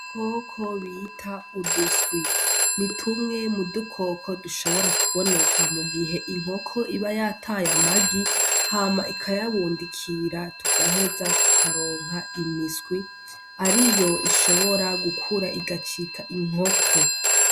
Udukoko bita uduswi ni tumwe mudukoko dushobora kuboneka mugihe inkoko iba yataye amagi hama ikayabundikira tugaheza tukaronka imiswi ariyo ishobora gukura igacika inkoko.